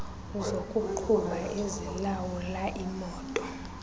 zokuqhuba ezilawula imoto